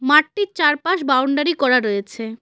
মাঠটির চারপাশ বাউন্ডারি করা রয়েছে।